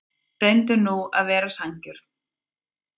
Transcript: Reyndu nú að vera sanngjörn.